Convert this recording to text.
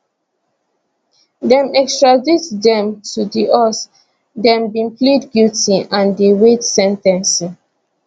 dem extradite dem to di us dem bin plead guilty and dey wait sen ten cing